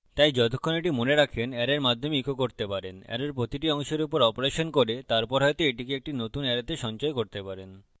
তাই যতক্ষণ এটি মনে রাখেন অ্যারের মাধ্যমে echo করতে পারেন অ্যারের প্রতিটি অংশের উপর অপারেশন করতে পারেন এবং তারপর হয়তো এটিকে একটি নতুন অ্যারেতে সঞ্চয় করতে পারেন